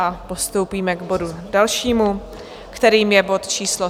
A postoupíme k bodu dalšímu, kterým je bod číslo